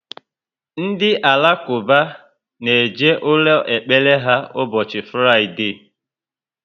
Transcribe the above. Ndị Alakuba na eje ụlọ ekpere ha ubosi Fraide